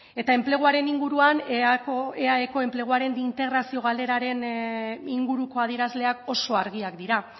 eta enpleguaren inguruan eaeko enpleguaren integrazio galeraren inguruko adierazleak oso argiak dira